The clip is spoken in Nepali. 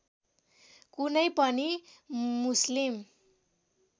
कुनै पनि मुस्लिम